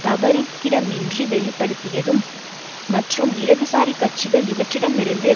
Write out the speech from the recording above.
தவறுக்கிடமின்றி வெளிப்படுத்தியதும் மற்றும் இடதுசாரி கட்சிகள் இவற்றிடமிருந்து